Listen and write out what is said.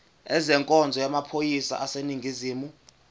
ezenkonzo yamaphoyisa aseningizimu